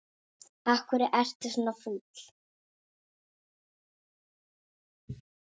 Af hverju ertu svona fúll?